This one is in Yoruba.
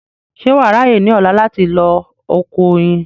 ṣé wà á ráyè ní ọ̀la láti lọ oko oyin